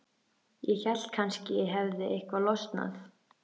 Ég hélt að kannski hefði eitthvað losnað.